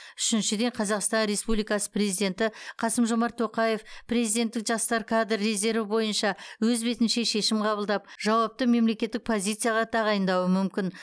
үшіншіден қазақстан республикасы президенті қасым жомарт тоқаев президенттік жастар кадр резерві бойынша өз бетінше шешім қабылдап жауапты мемлекеттік позицияға тағайындауы мүмкін